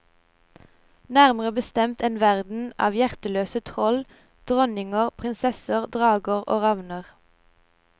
Nærmere bestemt en verden av hjerteløse troll, dronninger, prinsesser, drager og ravner.